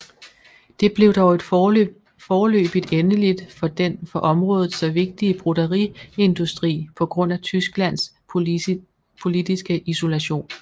Det blev dog et foreløbigt endeligt for den for området så vigtige broderiindustri på grund af Tysklands politiske isolation